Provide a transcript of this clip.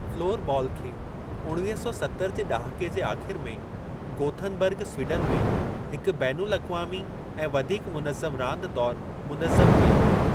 Floor बाल खे उणवीह सौ सतरि जे ॾहाके जे आख़िर में गोथनबर्ग स्वीडन में हिक बैन अल-अक़वामी ऐं वधीक मुनज़्ज़म रांदि तौर मुनज़्ज़म कयो व्यो।